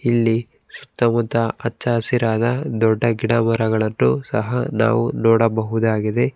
ಇಲ್ಲಿ ಸುತ್ತಮುತ್ತ ಹಚ್ಚಹಸಿರಾದ ದೊಡ್ಡ ಗಿಡ ಮರಗಳನ್ನು ಸಹ ನಾವು ನೋಡಬಹುದಾಗಿದೆ.